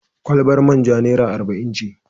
Kwalabar man ja naira arba'in ce.